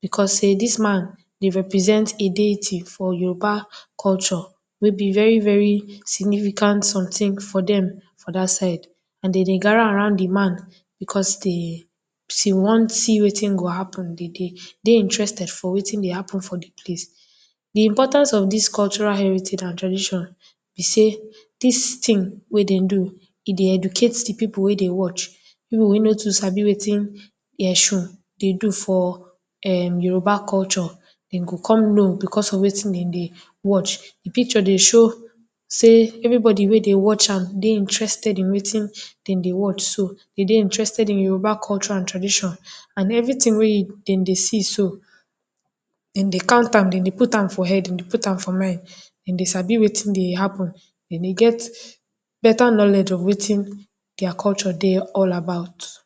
because sey dis man dey represent a deity for Yoruba culture wey be very very significant something for dem for dat side and dem dey gather around de man, because dey see one thing wey go happen, de dey dey interested for wetin dey happen for de place. De importance of dis cultural heritage and tradition be sey dis thing wey dem do, e dey educate de pipu wey dey watch, pipu wey nor too sabi wetin essurun dey do for um Yoruba culture, dem go con know because of wetin de dey watch. De picture dey show sey everybody wey dey watch am dey interested in wetin dem dey watch so, de dey interested in Yoruba culture and tradition and everything wey e dem dey see so, dem dey count am dem dey put am for head, dem dey put am for mind, dem dey sabi wetin dey happen, dem dey get better knowledge of wetin their culture dey all about.